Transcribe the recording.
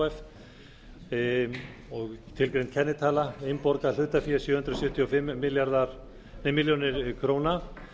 h f og tilgreind er kennitala innborgað hlutafé sjö hundruð sjötíu og fimm milljónir króna